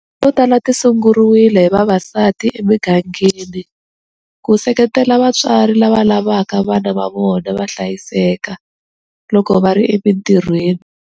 To tala ti sunguriwile hi vavasati emigangeni ku seketela vatswari lava lavaka vana va vona va hlayiseka loko va ri emitirhiweni.